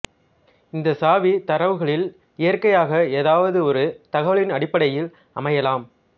இந்த சாவி தரவுகளில் இயக்கையாக ஏதாவது ஒரு தகவலின் அடிப்படையில் அமையலாம்